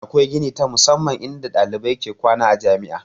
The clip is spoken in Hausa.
Akwai gini ta musamman in da ɗalibai ke kwana a jami'a